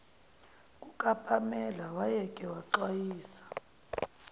kukapamela wayeke waxwayisa